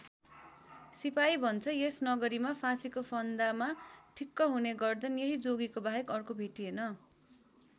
सिपाही भन्छ यस नगरीमा फाँसीको फन्दामा ठिक्क हुने गर्दन यही जोगीको बाहेक अर्को भेटिएन।